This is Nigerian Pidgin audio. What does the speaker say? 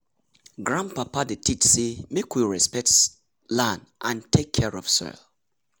grandpapa dey teach say make we respect land and take care of soil.